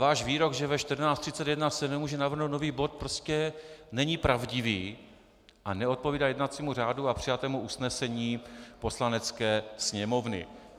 Váš výrok, že ve 14.31 se nemůže navrhnout nový bod, prostě není pravdivý a neodpovídá jednacímu řádu a přijatému usnesení Poslanecké sněmovny.